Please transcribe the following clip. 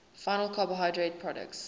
final carbohydrate products